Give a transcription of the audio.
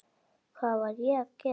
Hvað var ég að gera?